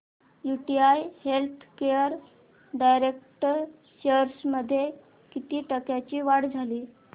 UTI healthcare direct shares मध्ये किती टक्क्यांची वाढ झाली